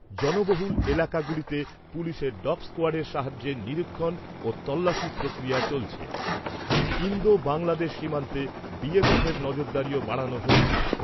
জনবহুল এলাকাগুলিতে পুলিশের ডগ স্কোয়াডের সাহায্যে নিরীক্ষণ ও তল্লাশি প্রক্রিয়া চলছে৷ ইন্দো বাংলাদেশ সীমান্তে এর নজরদারিও বাড়ানো হয়েছে।